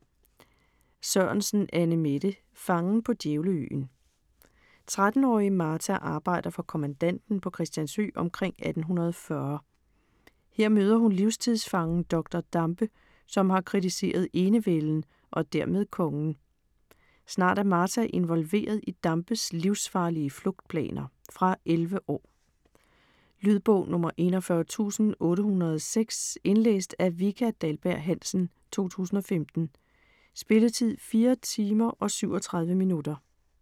Sørensen, Annemette: Fangen på Djævleøen 13-årige Martha arbejder for kommandanten på Christiansø omkring 1840. Her møder hun livstidsfangen Dr. Dampe, som har kritiseret enevælden og dermed kongen. Snart er Martha involveret i Dampes livsfarlige flugtplaner. Fra 11 år. Lydbog 41806 Indlæst af Vika Dahlberg-Hansen, 2015. Spilletid: 4 timer, 37 minutter.